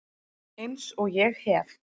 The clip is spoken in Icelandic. Eins og ég hef